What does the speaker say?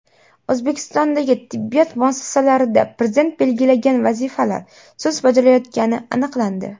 O‘zbekistondagi tibbiyot muassasalarida Prezident belgilagan vazifalar sust bajarilayotgani aniqlandi.